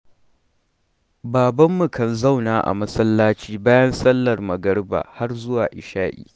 Babbanmu kan zauna a masallaci bayan sallar magariba har zuwa isha'i.